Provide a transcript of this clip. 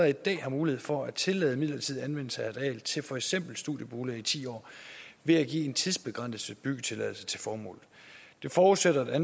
i dag har mulighed for at tillade midlertidig anvendelse af et areal til for eksempel studieboliger i ti år ved at give en tidsbegrænset byggetilladelse til formålet det forudsætter at